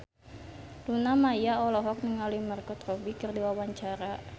Luna Maya olohok ningali Margot Robbie keur diwawancara